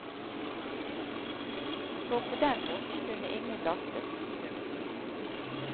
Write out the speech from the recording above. For på den måten kunne ingen lastes. punktum